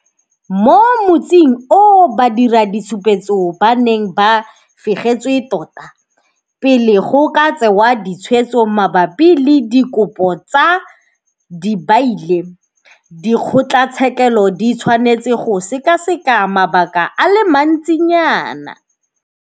Mo motsing oo badiraditshupetso ba ne ba fegetswe tota. Pele go ka tsewa ditshwetso mabapi le dikopo tsa dibaile, dikgotlatshekelo di tshwanetse go sekaseka mabaka a le mantsinyana.